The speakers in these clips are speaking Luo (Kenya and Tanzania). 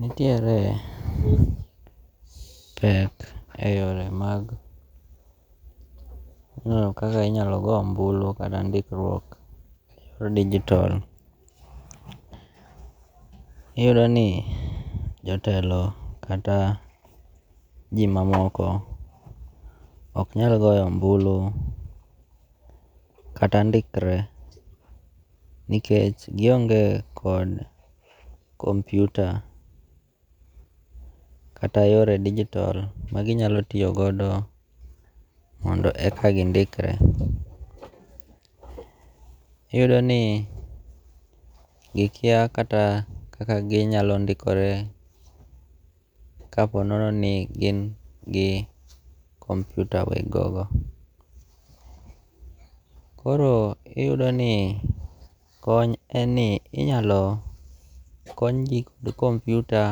Nitiere pek e yore mag ng'eyo kaka inyalo go ombulu kata ndikruok e yor digitol. Iyudo ni jotelo kata ji mamoko ok nyal goyo ombulu kata ndikre nikech gionge kod kompyuta kata yore digitol maginyalo tiyo godo mondo eka gindikre. Iyudo ni gikia kata kaka ginyalo ndikore kapo nono ni gin gi kompyuta weg gogo. Koro iyudo ni kony en ni inyalo kony ji kod kompyuta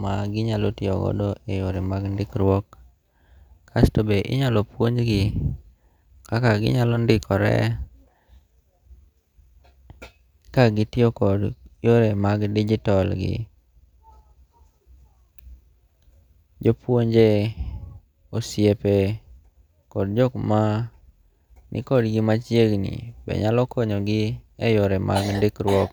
ma ginyalo tiyogodo e yore mag ndikruok. Kasto be inyalo puonjgi kaka ginyalo ndikore ka gitiyo kod yore mag digitol gi. Jopuonje, osiepe, kod jok ma nikod gi machiegni be nyalo konyogi e yore mag ndikruok.